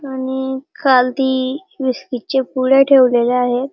आणि खालती बिस्कीट चे पुडे ठेवलेले आहेत.